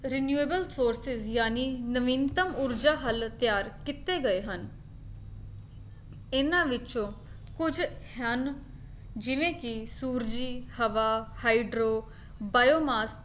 reliable sources ਜਾਣੀ ਨਿਵਨਤਮ ਊਰਜਾ ਹੱਲ ਤਿਆਰ ਕੀਤੇ ਗਏ ਹਨ ਇਹਨਾਂ ਵਿੱਚੋਂ ਕੁੱਝ ਹਨ ਜਿਵੇਂ ਕੀ ਸੂਰਜ, ਹਵਾ, ਹਾਈਡ੍ਰੋ, ਬਾਇਓਮਾਸ